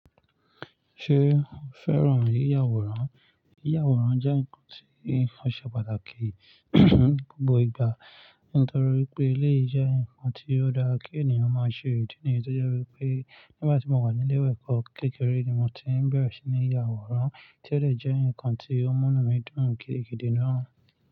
Ṣé o fẹ́ràn yíyàwòrán? Yíyàwòrán jẹ́ nǹkan tí ó ṣe pàtàkì gbogbo ìgbà nítorí pé eléyi je nǹkan tí ó dára kí ènìyàn máa ṣe ìdí nìyí tó jẹ́ wípé nígbà tí mo wà ní ilé ìwé eko kékeré ni mo ti ń bẹ̀rẹ̀ sí ní yàwòrán tí ó dẹ̀ jẹ́ nǹkan tí ó múnú mi dùn gidigidi náà.